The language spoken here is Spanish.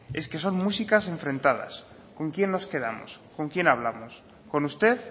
es que son músicas enfrentadas con quién nos quedamos con quién hablamos con usted